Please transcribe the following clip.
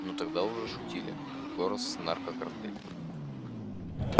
но уже тогда шутили госнаркокартель